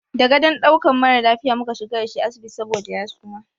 Da gadon ɗaukan mara lafiya mu ka shiga da shi asibiti saboda ya suma.